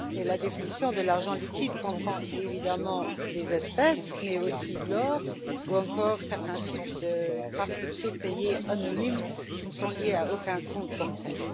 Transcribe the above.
La définition de l'argent liquide comprend évidemment les espèces, mais aussi l'or ou encore certains types de cartes prépayées anonymes qui ne sont liées à aucun compte bancaire.